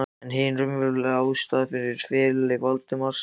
En hin raunverulega ástæða fyrir feluleik Valdimars í